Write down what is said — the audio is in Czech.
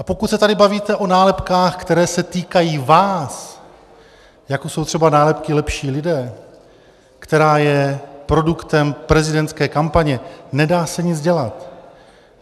A pokud se tady bavíte o nálepkách, které se týkají vás, jako jsou třeba nálepky "lepší lidé", která je produktem prezidentské kampaně, nedá se nic dělat.